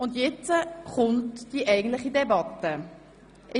Jetzt steht die eigentliche Debatte an.